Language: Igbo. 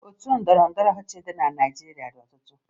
Otu ndọrọndọrọ ọchịchị dị na Naịjirịa dị ọtụtụ